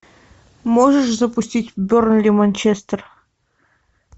можешь запустить бернли манчестер